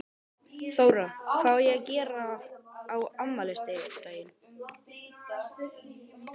Þóra: Hvað á að gera á afmælisdaginn?